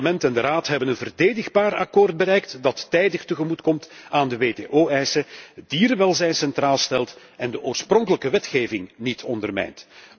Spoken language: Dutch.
Het Parlement en de Raad hebben een verdedigbaar akkoord bereikt dat tijdig tegemoet komt aan de WTO eisen, dierenwelzijn centraal stelt en de oorspronkelijke wetgeving niet ondermijnt.